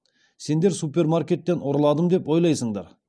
сендер супермаркеттен ұрладым деп ойлайсыңдар